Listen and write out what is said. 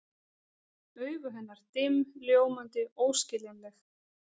Augu hennar dimm, ljómandi, óskiljanleg.